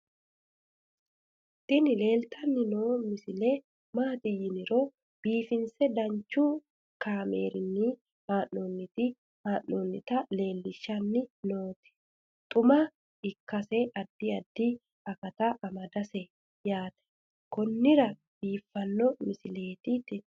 tini leeltanni noo misile maaati yiniro biifinse danchu kaamerinni haa'noonnita leellishshanni nonketi xuma ikkase addi addi akata amadaseeti yaate konnira biiffanno misileeti tini